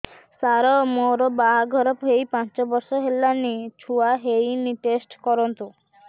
ସାର ମୋର ବାହାଘର ହେଇ ପାଞ୍ଚ ବର୍ଷ ହେଲାନି ଛୁଆ ହେଇନି ଟେଷ୍ଟ କରନ୍ତୁ